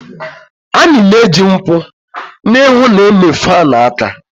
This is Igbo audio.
Anyị na-eji nkwụ n'ihu na-eme fan aka